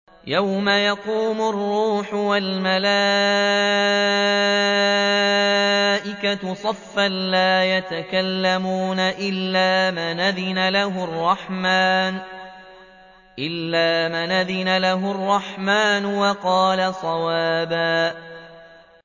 يَوْمَ يَقُومُ الرُّوحُ وَالْمَلَائِكَةُ صَفًّا ۖ لَّا يَتَكَلَّمُونَ إِلَّا مَنْ أَذِنَ لَهُ الرَّحْمَٰنُ وَقَالَ صَوَابًا